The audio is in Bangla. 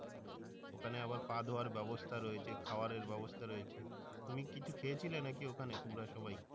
ওখানে আবার পা ধোয়ার বাবস্থা রয়েছে খাওয়ারের বাবস্থা রয়েছে তুমি কিছু খেয়েছিলে নাকি ওখানে তোমরা সবাই?